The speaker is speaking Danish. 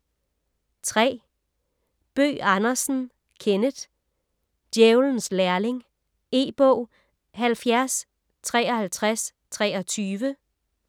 Bøgh Andersen, Kenneth: Djævelens lærling E-bog 705323